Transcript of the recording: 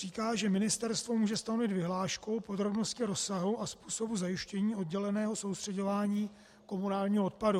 Říká, že Ministerstvo může stanovit vyhláškou podrobnosti rozsahu a způsobu zajištění odděleného soustřeďování komunálního odpadu.